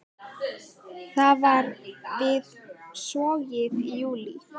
Það var við Sogið í júlí.